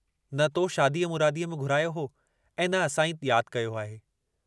न तो शादीअ मुरादीअ में घुरायो हो ऐं न असां ई याद कयो आहे।